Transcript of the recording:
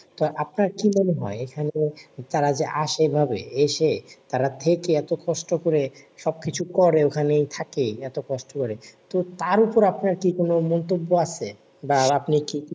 তা আপনার কি মনে হয়? এখানে তারা যে আসে এভাবে এসে তারা থেকে এত কষ্ট করে। সবকিছু করে ওখানেই থাকে এত কষ্ট করে, তো তার উপরে আপনার কি কোন মন্তব্য আছে? বা আপনি কি